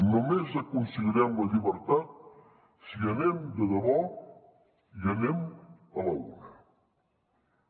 només aconseguirem la llibertat si anem de debò i anem a l’una